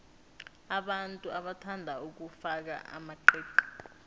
abantu bathanda ukufaka amaqiqi